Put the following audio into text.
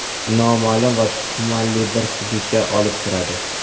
noma’lum va tumanli bir hududga olib kiradi.